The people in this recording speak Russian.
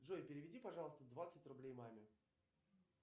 джой переведи пожалуйста двадцать рублей маме